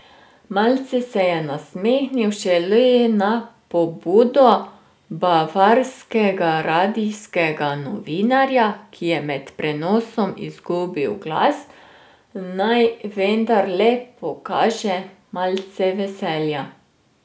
Malce se je nasmehnil šele na pobudo bavarskega radijskega novinarja, ki je med prenosom izgubil glas, naj vendarle pokaže malce veselja.